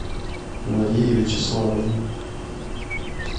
марии вячеславовне